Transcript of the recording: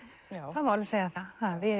það má alveg segja það við